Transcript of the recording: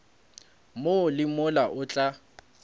mo le mola o tla